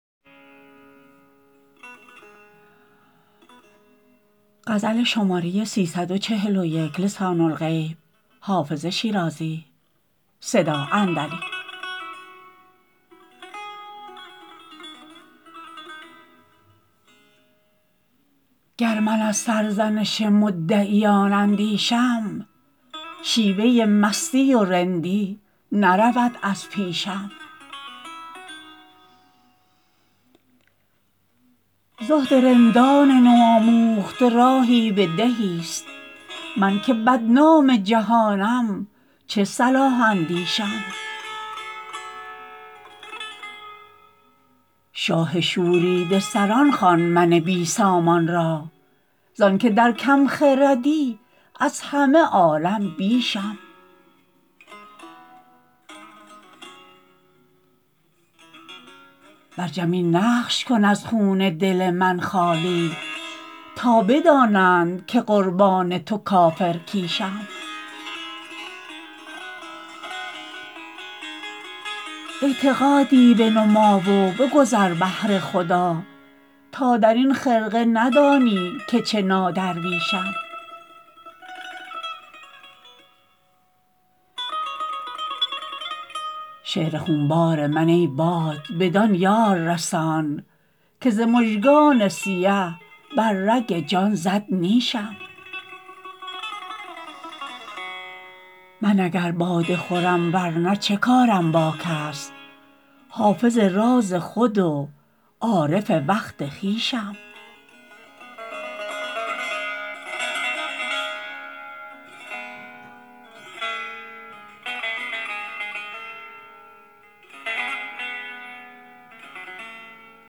گر من از سرزنش مدعیان اندیشم شیوه مستی و رندی نرود از پیشم زهد رندان نوآموخته راهی به دهیست من که بدنام جهانم چه صلاح اندیشم شاه شوریده سران خوان من بی سامان را زان که در کم خردی از همه عالم بیشم بر جبین نقش کن از خون دل من خالی تا بدانند که قربان تو کافرکیشم اعتقادی بنما و بگذر بهر خدا تا در این خرقه ندانی که چه نادرویشم شعر خونبار من ای باد بدان یار رسان که ز مژگان سیه بر رگ جان زد نیشم من اگر باده خورم ور نه چه کارم با کس حافظ راز خود و عارف وقت خویشم